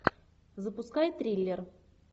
запускай триллер